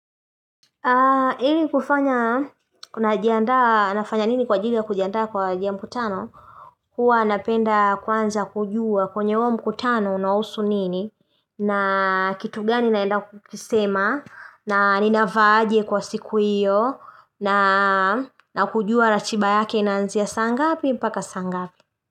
Ili kufanya, na kujiandaa nafanya nini kwa ajili ya kujiandaa kwa haja ya mkutano? Huwa napenda kwanza kujua kwenye huo mkutano unahusu nini na kitu gani naenda kukisema na ninavaa aje kwa siku hiyo na kujua ratiba yake inanzia saangapi paka saangapi.